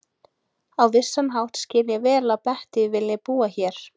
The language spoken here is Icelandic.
Á vissan hátt skil ég vel að Bettý vilji búa hér.